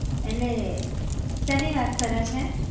એટલે, શેની વાત કરે છે?